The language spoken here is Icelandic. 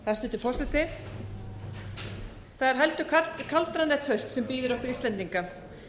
hæstvirtur forseti það er heldur kaldranalegt haust sem bíður okkar íslendinga